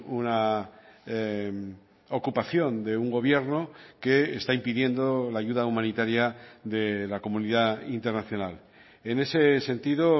una ocupación de un gobierno que está impidiendo la ayuda humanitaria de la comunidad internacional en ese sentido